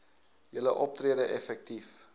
julle optrede effektief